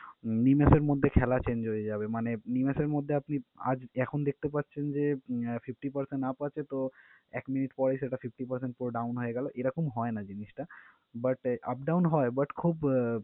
নিমেষের মধ্যে খেলা change হয়ে যাবে। মানে নিমেষের মধ্যে আপনি আজ এখন দেখতে পারছেন যে, fifty percent up আছে তো এক মিনিট পরে সেটা fifty percent পুরো down হয়ে গেলো। এরকম হয় না জিনিসটা but up down হয় but খুব